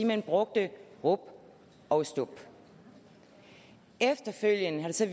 man brugte rub og stub efterfølgende har det så